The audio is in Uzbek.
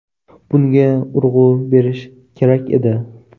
Bunga urg‘u berish kerak edi.